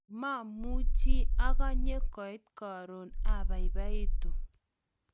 mamuchi akanye koit karon, abaibaitu